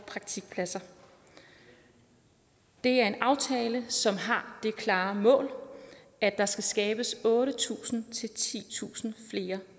praktikpladser det er en aftale som har det klare mål at der skal skabes otte tusind titusind flere